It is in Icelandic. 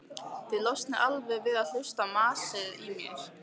Þið losnið alveg við að hlusta á masið í mér.